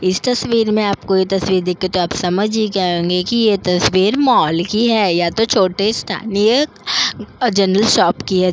इस तस्वीर में आपको ये तस्वीर दिखे तो आप समझ ही गए होंगे कि ये तस्वीर मॉल की है या तो छोटे स्थानीय जनरल शॉप की है।